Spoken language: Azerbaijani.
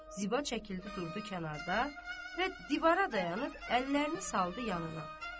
Ziba çəkildi, durdu kənarda və divara dayanıb əllərini saldı yanına.